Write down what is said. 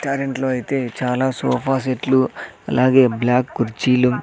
కరెంట్లో అయితే చాలా సోఫా సెట్లు అలాగే బ్లాక్ కుర్చీలు--